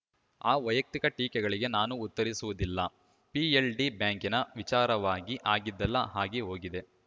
ಆ ವೈಯಕ್ತಿಕ ಟೀಕೆಗಳಿಗೆ ನಾನು ಉತ್ತರಿಸುವುದಿಲ್ಲ ಪಿಎಲ್‌ಡಿ ಬ್ಯಾಂಕಿನ ವಿಚಾರವಾಗಿ ಆಗಿದ್ದೆಲ್ಲ ಆಗಿ ಹೋಗಿದೆ